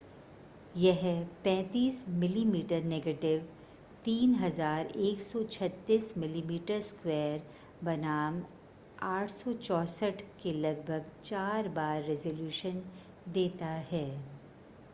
यह 35 मिमी नेगेटिव 3136 मिमी2 बनाम 864 के लगभग चार बार रेज़ोल्यूशन देता है।